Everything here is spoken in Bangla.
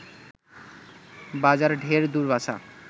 বাজার ঢের দূর বাছা